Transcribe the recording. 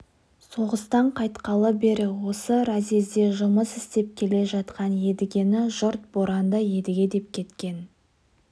соғыстан қайтқалы бері осы разъезде жұмыс істеп келе жатқан едігені жұрт боранды едіге деп кеткен